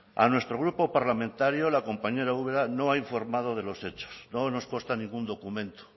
a nuestro grupo parlamentario la compañera ubera no ha informado de los hechos no nos consta ningún documento